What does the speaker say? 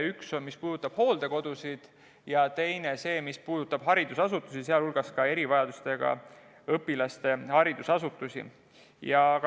Üks, mis puudutab hooldekodusid, ja teine, mis puudutab haridusasutusi, sealhulgas ka erivajadustega õpilaste haridusasutusi.